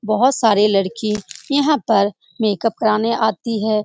बहुत सारी लड़की यहाँ पर मेकअप करवाने आती हैं ।